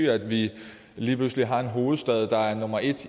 at vi lige pludselig har en hovedstad der er nummer et